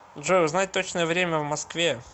джой узнать точное время в москве